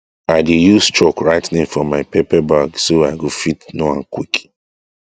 i dey use chalk write name for my pepper bag so i go fit know am quick